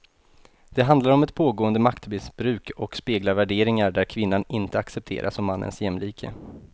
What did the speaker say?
Det handlar om ett pågående maktmissbruk och speglar värderingar där kvinnan inte accepteras som mannens jämlike.